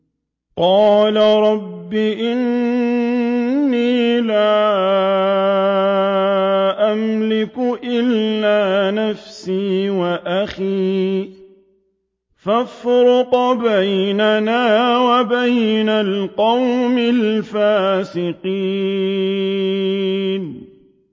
قَالَ رَبِّ إِنِّي لَا أَمْلِكُ إِلَّا نَفْسِي وَأَخِي ۖ فَافْرُقْ بَيْنَنَا وَبَيْنَ الْقَوْمِ الْفَاسِقِينَ